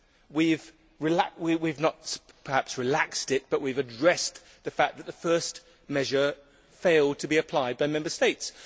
We have not perhaps relaxed it, but we have addressed the fact that the first measure failed to be applied by Member States.